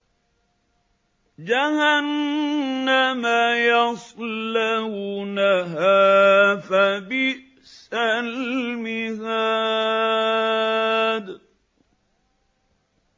جَهَنَّمَ يَصْلَوْنَهَا فَبِئْسَ الْمِهَادُ